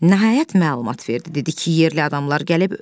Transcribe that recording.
Nəhayət məlumat verdi, dedi ki, yerli adamlar gəlib.